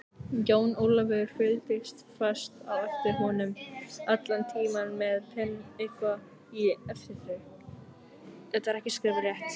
Jón Ólafur fylgdi fast á eftir honum allan tímann með Penélope í eftirdragi.